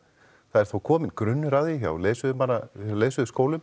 það er þó kominn grunnur að því hjá leiðsögumanna